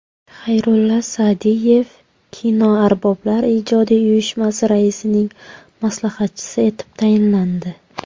Xayrulla Sa’diyev Kinoarboblar ijodiy uyushmasi raisining maslahatchisi etib tayinlandi.